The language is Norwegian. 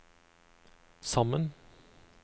sammen